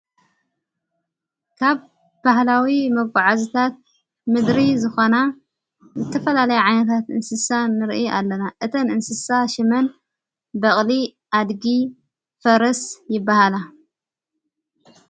ካብ ባህላዊ መጋዓዝታት ምድሪ ዝኾና ተፈላለይ ዓይነታት እንስሳ ንርኢ ኣለና እተን እንስሳ ሽመን በቕሊ ኣድጊ ፈረስ ይበሃላ::